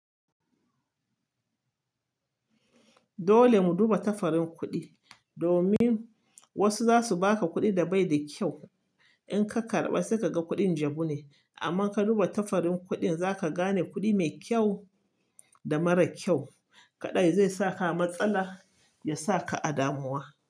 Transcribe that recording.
Dole mu duba tafarin kuɗi domin wasu zasu baka kuɗi da bai da kyau. In ka karɓa sai kaga kuɗin jabune. Amma ka duba tafarin kuɗin zaka gane kuɗi mai kyau da mara kyau. Kaɗai zai saka a matsala ya saka a damuwa.